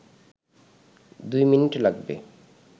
দুই মিনিট লাগবে